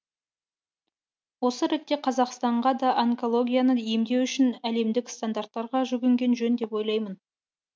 осы ретте қазақстанға да онкологияны емдеу үшін әлемдік стандарттарға жүгінген жөн деп ойлаймын